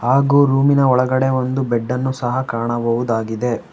ಹಾಗು ರೂಮಿನ ಒಳಗಡೆ ಒಂದು ಬೆಡ್ಡನ್ನು ಸಹ ಕಾಣಬಹುದಾಗಿದೆ.